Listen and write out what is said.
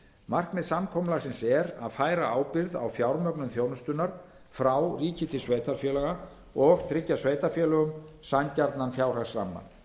markmið samkomulagsins er að færa ábyrgð á fjármögnun þjónustunnar frá ríki til sveitarfélaga og tryggja sveitarfélögum sanngjarnan fjárhagsramma